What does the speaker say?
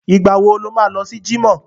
Ìgbà wo lo má lọ sí jímọ̀?